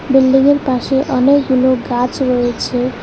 বিল্ডিংয়ের পাশে অনেকগুলো গাছ রয়েছে।